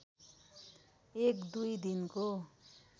एक दुई दिनको